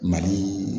Mali